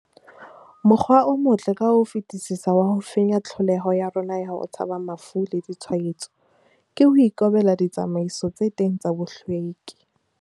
Mokgwa o motle ka ho fetisisa wa ho fenya tlholeho ya rona ya ho tshaba mafu le ditshwaetso, ke ho ikobela ditsamaiso tse teng tsa bohlweki.